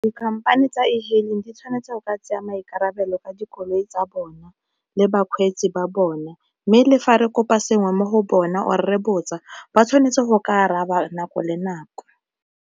Dikhamphane tsa ehailing di tshwanetse go ka tsaya maikarabelo ka dikoloi tsa bona le bakgweetsi ba bona, mme le fa re kopa sengwe mo go bona or re botsa ba tshwanetse go ke araba nako le nako.